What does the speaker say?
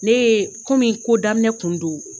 Ne ye komi ko daminɛ kun do.